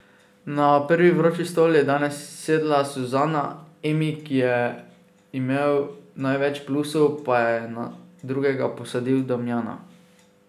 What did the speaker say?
Na prvi vroči stol je danes sedla Suzana, Emi, ki je imel največ plusov, pa je na drugega posadil Damjana.